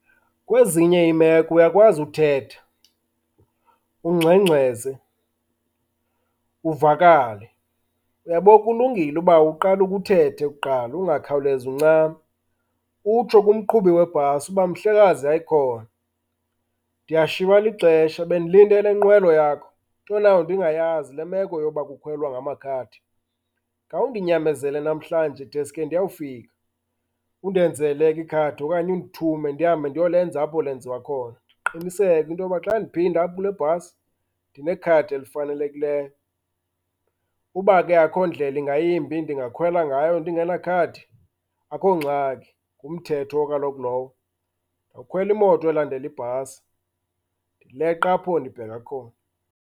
Kwezinye iimeko uyakwazi uthetha, ungxengxeze, uvakale. Uyabo, kulungile uba uqale ukhe uthethe kuqala, ungakhawulezi uncame. Utsho kumqhubi webhasi uba, mhlekazi, hayi khona, ndiyashiywa lixesha bendilinde le nkqwelo yakho, into nayo ndingayazi le meko yoba kukhwelwa ngamakhadi. Khawundinyamezele namhlanje deske ndiyawufika, undenzele ke ikhadi okanye nindithume ndihambe ndiyolenza apho lenziwa khona. Ndiqiniseke into yoba xa ndiphinda apha kule bhasi, ndinekhadi elifanelekileyo. Uba ke akukho ndlela ingayimbi ndingakhwela ngayo ndingenakhadi, akukho ngxaki, ngumthetho kaloku lowo. Ndiyokhwela imoto elandela ibhasi, ndileqe apho ndibheka khona.